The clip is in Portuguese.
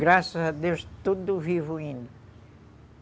Graças a Deus, tudo vivo ainda.